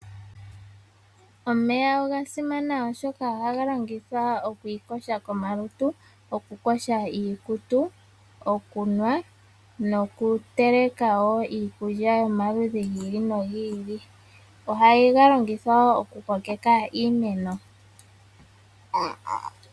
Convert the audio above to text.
Omeya oga simana oshoka ohaga longithwa oku iyoga komalutu, okuyoga iikutu, okunwa nokuteleka wo iikulya yomaludhi gi ili nogi ili. Ohaga longithwa wo okukokeka iimeno.